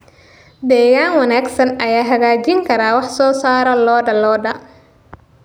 Deegaan wanaagsan ayaa hagaajin kara wax soo saarka lo'da lo'da.